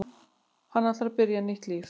Hann ætlar að byrja nýtt líf.